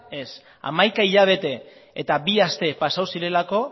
ez hamaika hilabete eta bi aste pasatu zirelako